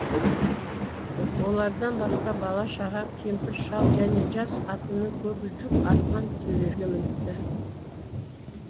олардан басқа бала шаға кемпір шал және жас қатынның көбі жүк артқан түйелерге мініпті